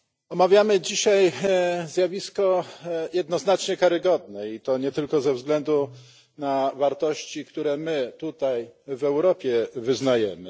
Omawiamy dzisiaj zjawisko jednoznacznie karygodne i to nie tylko ze względu na wartości, które my tutaj w Europie wyznajemy.